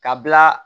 Ka bila